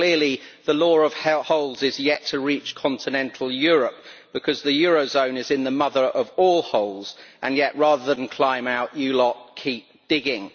But clearly the law of holes is yet to reach continental Europe, because the eurozone is in the mother of all holes and yet rather than climb out you lot keep digging.